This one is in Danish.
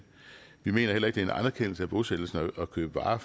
vi mener heller ikke en anerkendelse af bosættelserne at købe varer